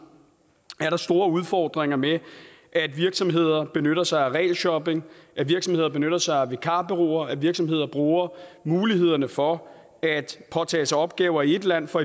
store udfordringer med at virksomheder benytter sig af regelshopping at virksomheder benytter sig af vikarbureauer og at virksomheder bruger mulighederne for at påtage sig opgaver i et land for